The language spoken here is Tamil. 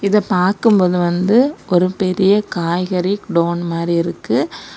இதை பார்க்கும் போது வந்து ஒரு பெரிய காய்கறி குடோன் மாறி இருக்கு.